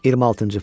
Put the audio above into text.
26-cı fəsil.